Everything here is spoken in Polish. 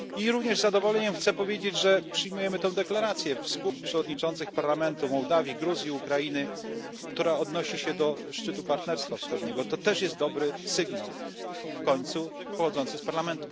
Również z zadowoleniem chcę powiedzieć, że przyjmujemy tę wspólną deklarację przewodniczących parlamentów Mołdawii, Gruzji, Ukrainy, która odnosi się do szczytu Partnerstwa Wschodniego. To też jest dobry sygnał, w końcu pochodzący z parlamentów narodowych.